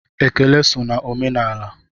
Ekele so na omenaala.